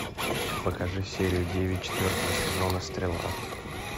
покажи серию девять четвертого сезона стрела